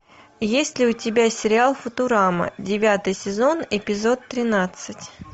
есть ли у тебя сериал футурама девятый сезон эпизод тринадцать